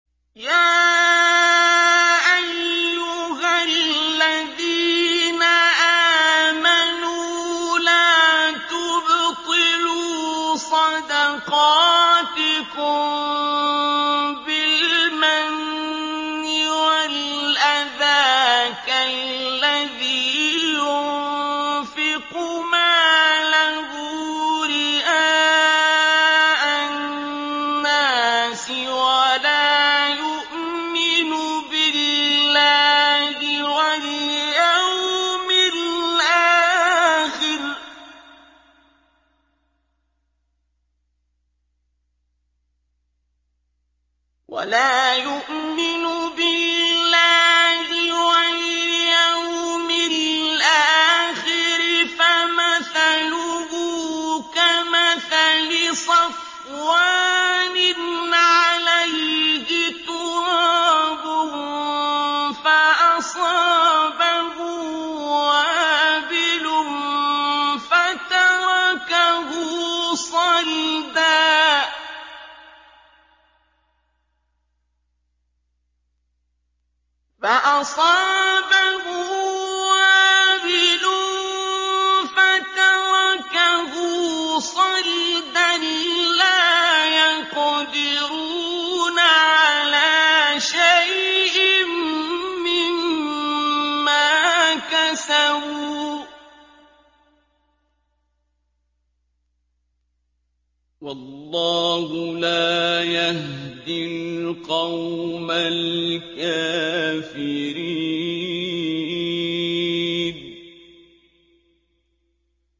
يَا أَيُّهَا الَّذِينَ آمَنُوا لَا تُبْطِلُوا صَدَقَاتِكُم بِالْمَنِّ وَالْأَذَىٰ كَالَّذِي يُنفِقُ مَالَهُ رِئَاءَ النَّاسِ وَلَا يُؤْمِنُ بِاللَّهِ وَالْيَوْمِ الْآخِرِ ۖ فَمَثَلُهُ كَمَثَلِ صَفْوَانٍ عَلَيْهِ تُرَابٌ فَأَصَابَهُ وَابِلٌ فَتَرَكَهُ صَلْدًا ۖ لَّا يَقْدِرُونَ عَلَىٰ شَيْءٍ مِّمَّا كَسَبُوا ۗ وَاللَّهُ لَا يَهْدِي الْقَوْمَ الْكَافِرِينَ